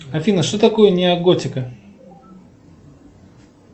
афина что такое неоготика